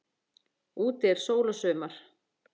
Úti er sól og sumar.